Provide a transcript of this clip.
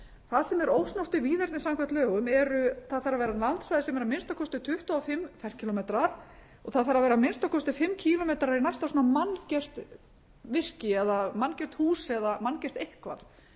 það sem er ósnortið víðerni samkvæmt lögum eru það þarf að vera landsvæði sem að minnsta kosti tuttugu og fimm ferkílómetrar og það þarf að vera að minnsta kosti fimm kílómetrar í næsta svona manngert virki eða manngert hús eða manngert eitthvað